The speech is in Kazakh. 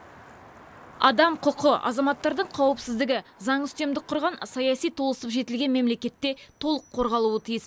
адам құқы азаматтардың қауіпсіздігі заң үстемдік құрған саяси толысып жетілген мемлекетте толық қорғалуы тиіс